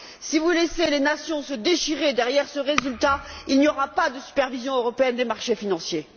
Si vous laissez les nations se déchirer derrière ce résultat, il n'y aura pas de supervision européenne des marchés financiers.